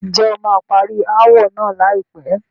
Ǹjẹ́ o máa parí ááwọ̀ náà láìpẹ́?